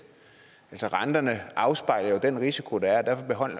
altså renterne afspejler jo den risiko der er